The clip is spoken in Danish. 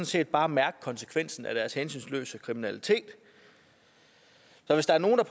set bare mærke konsekvensen af deres hensynsløse kriminalitet så hvis der er nogle der